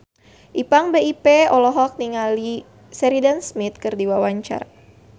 Ipank BIP olohok ningali Sheridan Smith keur diwawancara